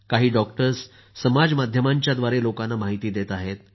काही डॉक्टर्स समाजमाध्यमांच्या द्वारे लोकांना माहिती देत आहेत